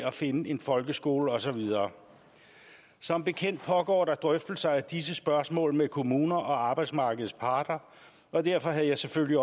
og finde en folkeskole og så videre som bekendt pågår der drøftelser af disse spørgsmål med kommuner og arbejdsmarkedets parter og derfor havde jeg selvfølgelig